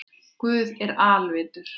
Guð er alvitur